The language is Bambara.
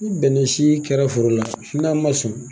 Ni bɛnc sii kɛra foro la, n'a ma sɔn